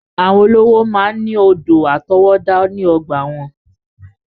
Àwọn olówó máa ń ní odò àtọwọ́dá ní ọgbàa wọn.